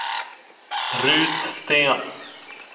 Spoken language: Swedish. Rut Sten